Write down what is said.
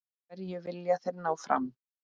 Hverju vilja þeir ná fram?